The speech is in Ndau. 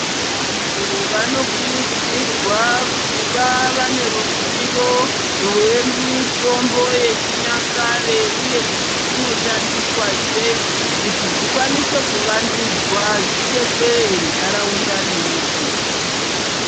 Vantu vanokurudzirwa kuva vane ruzivo rwemitombo yechinyakare uye kuti inoshandiswa sei kuti dzikwanise kuvandudzwa zvidetsere ntaraunda nenyika.